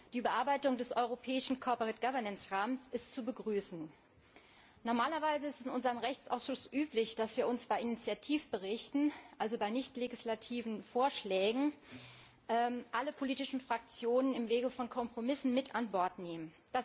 Die Bearbeitung des europäischen Rahmens ist zu begrüßen. Normalerweise ist es in unserem Rechtsausschuss üblich, dass wir bei Initiativberichten, also bei nichtlegislativen Vorschlägen, alle politischen Fraktionen im Wege von Kompromissen mit an Bord nehmen.